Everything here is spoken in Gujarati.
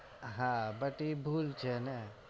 હા બધી ભૂલ છે ને